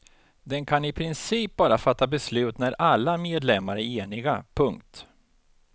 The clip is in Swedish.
Den kan i princip bara fatta beslut när alla medlemmar är eniga. punkt